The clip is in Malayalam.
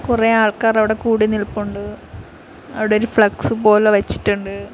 കുറെ ആൾക്കാർ അവിടെ കൂടി നിൽപ്പുണ്ട് അവിടെ ഒരു ഫ്ലെക്സ് പോലെ വച്ചിട്ടുണ്ട്.